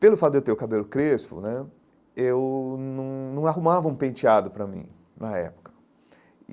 Pelo fato de eu ter o cabelo crespo né, eu num num arrumava um penteado para mim na época.